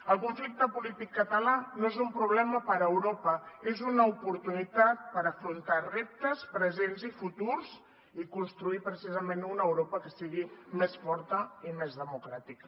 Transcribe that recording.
el conflicte polític català no és un problema per a europa és una oportunitat per afrontar reptes presents i futurs i construir precisament una europa que sigui més forta i més democràtica